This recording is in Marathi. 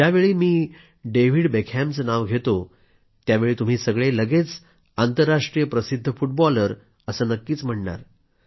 ज्यावेळी मी डेव्हिड बेकहॅमचं नाव घेतो त्यावेळी तुम्ही सगळे लगेच आंतरराष्ट्रीय प्रसिद्ध फुटबॉलर असं नक्कीच म्हणणार